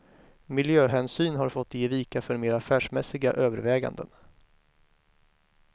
Miljöhänsyn har fått ge vika för mer affärsmässiga överväganden.